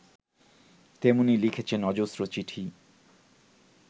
তেমনি লিখেছেন অজস্র চিঠি